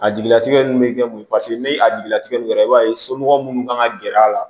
A jigilatigɛ ninnu bɛ kɛ mun ye paseke ni a jigila tigɛ nin kɛra i b'a ye somɔgɔ minnu kan ka gɛrɛ a la